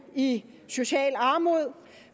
i socialt armod